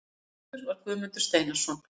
Gestur var Guðmundur Steinarsson.